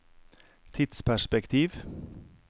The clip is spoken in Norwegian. tidsperspektiv